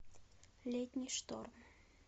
летний шторм